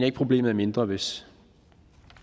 at problemet er mindre hvis